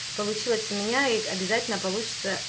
получилось у меня и обязательно получится